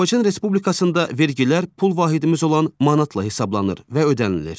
Azərbaycan Respublikasında vergilər pul vahidimiz olan manatla hesablanır və ödənilir.